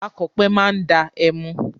Akọ̀pẹ máa da ẹmu.